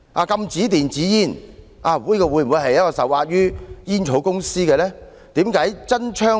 禁止電子煙，會否因為政府受壓於煙草公司呢？